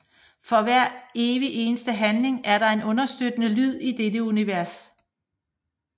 For hver evig eneste handling er der en understøttende lyd i dette univers